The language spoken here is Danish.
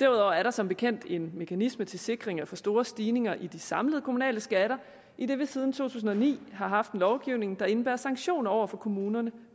derudover er der som bekendt en mekanisme til sikring mod for store stigninger i de samlede kommunale skatter idet vi siden to tusind og ni har haft en lovgivning der indebærer sanktioner over for kommunerne